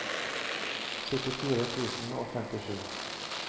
syttifire tusen og femtisju